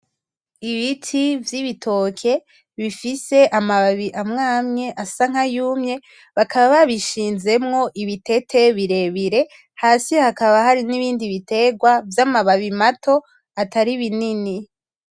Ibiti vy'ibitoke bifise amababi amwe amwe asa nk'ayumye, bakaba babishinzemwo ibitete birebire , hasi hakaba n'ibindi bitegwa vy'amababi mato atari binini.